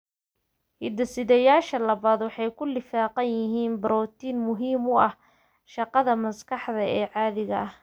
Hidde-sidayaasha MECP labaad waxa ay ku lifaaqan yihiin borotiin muhiim u ah shaqada maskaxda ee caadiga ah.